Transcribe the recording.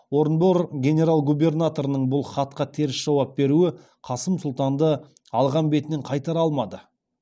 орынбор генерал губернаторының бұл хатқа теріс жауап беруі қасым сұлтанды алған бетінен қайтара алмады